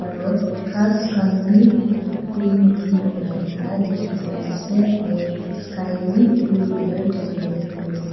ru ghas khan bi green green ulaikena dikhi paise aro sky bi blue color dikhiwole pari ase.